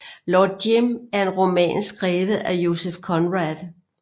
Lord Jim er en roman skrevet af Joseph Conrad